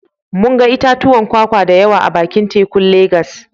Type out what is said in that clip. Mun ga itatuwan kwakwa da yawa a bakin tekun Legas